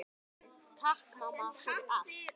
Takk mamma, fyrir allt.